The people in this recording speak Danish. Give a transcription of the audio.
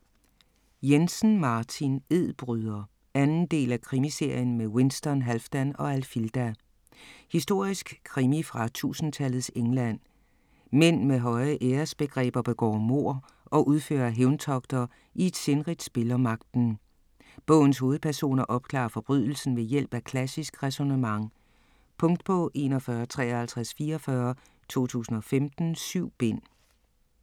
Jensen, Martin: Edbryder 2. del af Krimiserien med Winston, Halfdan og Alfilda. Historisk krimi fra 1000-tallets England. Mænd med høje æresbegreber begår mord og udfører hævntogter i et sindrigt spil om magten. Bogens hovedpersoner opklarer forbrydelsen ved hjælp af klassisk ræsonnement. Punktbog 415344 2015. 7 bind.